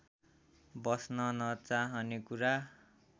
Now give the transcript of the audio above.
बस्न नचाहने कुरा